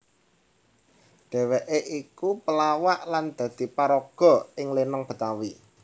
Dheweké iku pelawak lan dadi paraga ing lenong Betawi